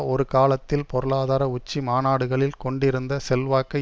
ஒரு காலத்தில் பொருளாதார உச்சி மாநாடுகளில் கொண்டிருந்த செல்வாக்கை